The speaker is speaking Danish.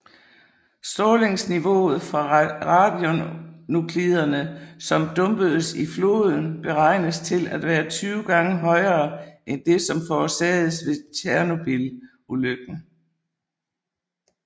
Strålingsniveauet fra radionukliderne som dumpedes i floden beregnes til at være 20 gange højere end det som forårsagedes ved Tjernobylulykken